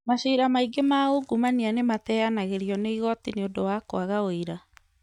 Macira maingĩ ma ungumania nĩmateyanagĩrio nĩ igoti nĩundũ wa kwaga ũira